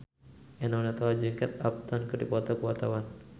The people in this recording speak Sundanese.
Eno Netral jeung Kate Upton keur dipoto ku wartawan